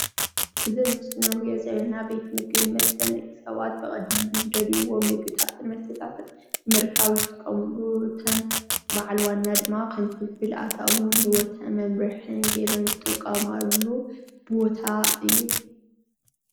እዚ ምስሊ ሰባት ቅርሺ ከፊሎም ምግቢ ይኹን ዝስተ ዝጥቀምኒ ገዛ እዩ።